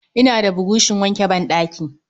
Ina da burushin wanke ban ɗaki